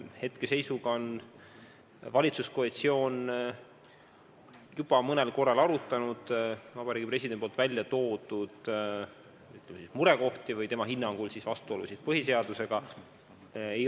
Hetke seisuga on valitsuskoalitsioon juba mõnel korral arutanud presidendi välja toodud murekohti ehk siis tema hinnangul vastuolusid põhiseadusega.